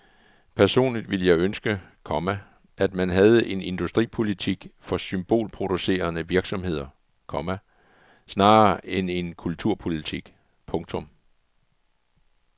Personligt ville jeg ønske, komma at man havde en industripolitik for symbolproducerende virksomheder, komma snarere end en kulturpolitik. punktum